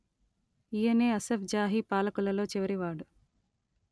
ఈయనే అసఫ్ జాహీ పాలకులలో చివరివాడు